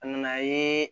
A nana ye